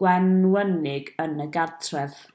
gwenwynig yn y cartref